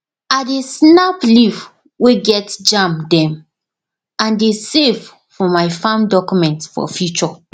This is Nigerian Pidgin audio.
i dey snap leaf way get germ dem and dey save for my farm document for future